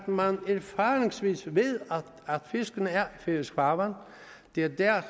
man erfaringsmæssigt ved at fisken er i færøsk farvand det er der